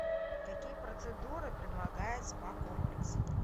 какие процедуры предлагает спа комплекс